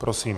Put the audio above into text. Prosím.